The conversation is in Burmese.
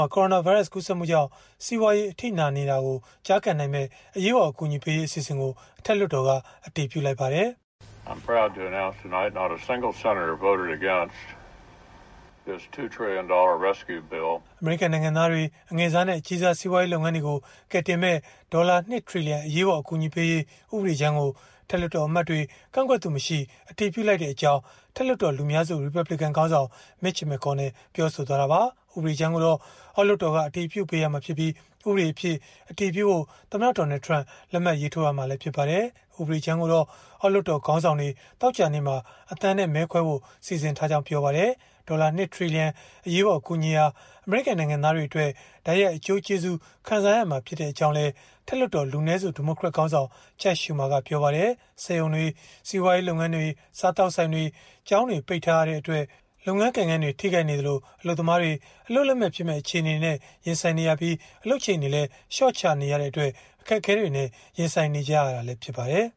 ှာ ကိုရိုနာဗိုင်းရပ်စ် ကူးစက်မှုကြောင့် စီးပွားရေး အထိနာနေတာကို ကျားကန်နိုင်မယ့် အရေးပေါ် အကူအညီပေးရေး အစီအစဉ်ကို အထက်လွှတ်တော်က အတည်ပြုလိုက်ပါတယ်။ “အမေရိကန် နိုင်ငံသားတွေ၊ အငယ်စားနဲ့ အကြီးစား စီးပွားရေး လုပ်ငန်းတွေကို ကယ်တင်မယ့် ဒေါ်လာ ၂ ထီလီယံ အရေးပေါ် အကူအညီပေးရေး ဥပဒေကြမ်းကို အထက်လွှတ်တော်အမတ်တွေ ကန့်ကွက်သူမရှိ အတည်ပြုလိုက်ကြောင်း” အထက်လွှတ်တော် လူများစု ရီပတ်ဘလစ်ကန်ခေါင်းဆောင် Mitch McConnell ပြောဆိုသွားတာပါ။ ဥပဒေကြမ်းကိုတော့ အောက်လွှတ်တော်က အတည်ပြုပေးရမှာဖြစ်ပြီး ဥပဒေအဖြစ် အတည်ပြုဖို့ သမ္မတ Donald Trump လက်မှတ်ရေးထိုးရမှာ ဖြစ်ပါတယ်။ ဥပဒေကြမ်းကိုတော့ အောက်လွှတ်တော် ခေါင်းဆောင်တွေ သောကြာနေ့မှာ အသံနဲ့ မဲခွဲဖို့ စီစဉ်ထားကြောင်း ပြောပါတယ်။ ဒေါ်လာ ၂ ထီလီယံ အရေးပေါ် အကူအညီဟာ အမေရိကန် နိုင်ငံသားတွေအတွက် တိုက်ရိုက်အကျိုးကျေးဇူး ခံစားရမှာ ဖြစ်ကြောင်းလည်း အထက်လွှတ်တော် လူနည်းစု ဒီမိုကရက်ခေါင်းဆောင် Chuck Schumer ကပြောပါတယ်။ စက်ရုံတွေ၊ စီးပွားရေး လုပ်ငန်းတွေ၊ စားသောက်ဆိုင်တွေ၊ ကျောင်းတွေ ပိတ်ထားရတဲ့အတွက် လုပ်ငန်းကိုင်ငန်းတွေ ထိခိုက်နေသလို၊ အလုပ်သမားတွေ အလုပ်လက်မဲ့ဖြစ်မယ့် အခြေအနေနဲ့ ရင်ဆိုင်နေရသလို အလုပ်ချိန်တွေလည်း လျှော့ချနေရတဲ့အတွက် အခက်အခဲတွေနဲ့ ရင်ဆိုင်နေကြရတာ ဖြစ်ပါတယ်